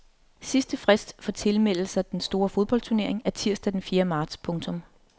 Sidst frist for tilmelde sig den store fodboldturnering er tirsdag den fjerde marts. punktum